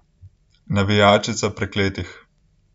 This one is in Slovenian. Navijačica prekletih.